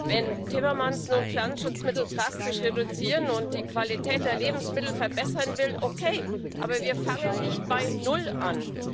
Wenn Timmermans nun Pflanzenschutzmittel drastisch reduzieren und die Qualität der Lebensmittel verbessern will okay, aber wir fangen nicht bei null an.